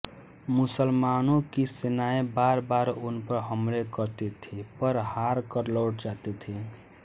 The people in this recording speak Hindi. मुसलमानों की सेनाएँ बारबार उन पर हमले करती थीं पर हार कर लौट जाती थीं